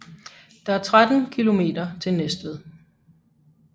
Der er 13 kilometer til Næstved